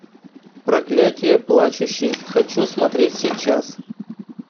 проклятье плачущей хочу смотреть сейчас